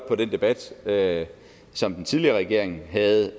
med den debat debat som den tidligere regering havde